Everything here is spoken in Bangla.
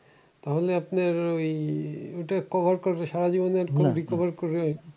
তাহলে আপনার ওই ঐটা cover করবে সারাজীবনে আর কোনো recover হবে না।